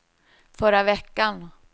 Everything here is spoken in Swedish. förra veckan